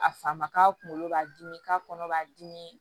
A fa ma k'a kunkolo b'a dimi k'a kɔnɔ b'a dimi